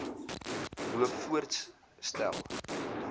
loop voorts stel